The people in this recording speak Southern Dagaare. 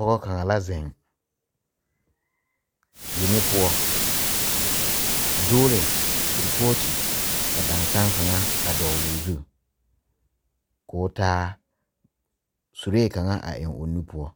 Pɔgɔ kanga la zeŋ yeŋe poʊ. A dugle kurpɔte ka dansen kanga a dogle o zu. K'o taa sureɛ kanga a eŋ o nu poʊ.